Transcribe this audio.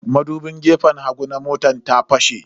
Madubin gefen hagu na motar ta fashe.